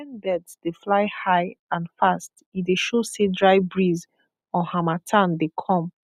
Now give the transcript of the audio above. when birds dey fly high and fast e dey show say dry breeze or harmattan dey come